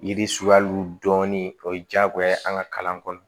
Yiri suguyaw dɔɔnin o ye diyagoya ye an ka kalan kɔnɔ